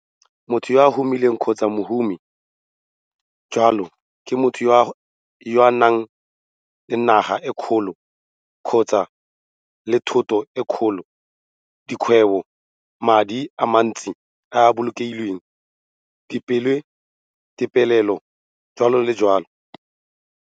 Motho yo o humileng kgotsa mohumi jalo ke motho yo o nang naga e kgolo kgotsa-le thoto e kgolo, dikgwebo, madi a mantsi a a bolokilweng, dipeelelo, jalo le jalo.